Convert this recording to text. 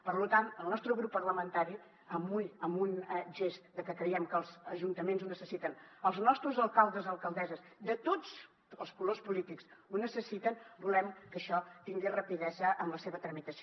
per tant el nostre grup parlamentari amb un gest que creiem que els ajuntaments necessiten els nostres alcaldes alcaldesses de tots els colors polítics ho necessiten volem que això tingui rapidesa en la seva tramitació